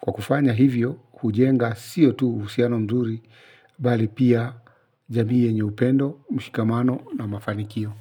kwa kufanya hivyo hujenga siyo tu uhusiano mzuri, bali pia jamii yenye upendo, mshikamano na mafanikio.